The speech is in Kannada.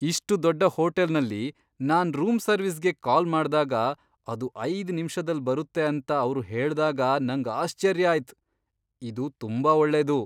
ಇಷ್ಟು ದೊಡ್ಡ ಹೋಟೆಲ್ನಲ್ಲಿ ನಾನ್ ರೂಮ್ ಸರ್ವಿಸ್ಗೆ ಕಾಲ್ ಮಾಡ್ದಾಗ, ಅದು ಐದ್ ನಿಮಿಷದಲ್ ಬರುತ್ತೆ ಅಂತ ಅವ್ರು ಹೇಳ್ದಾಗ ನಂಗ್ ಆಶ್ಚರ್ಯ ಆಯ್ತ್. ಇದು ತುಂಬಾ ಒಳ್ಳೇದು.